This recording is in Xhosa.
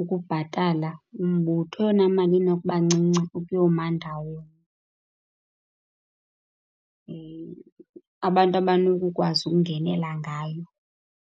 ukubhatala umbutho? Eyona mali enokuba ncinci ukuyoma ndawoni abantu abanokukwazi ukungenela ngayo?